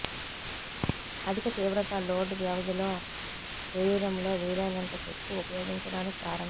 అధిక తీవ్రత లోడ్ వ్యవధిలో శరీరంలో వీలైనంత శక్తి ఉపయోగించడానికి కారణం